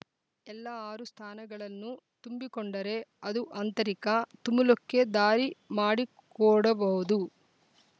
ಎಲ್ಲಾ ಆರು ಸ್ಥಾನಗಳನ್ನು ತುಂಬಿಕೊಂಡರೆ ಅದು ಆಂತರಿಕ ತುಮುಲಕ್ಕೆ ದಾರಿ ಮಾಡಿಕೊಡಬಹುದು